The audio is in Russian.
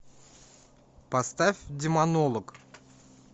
поставь демонолог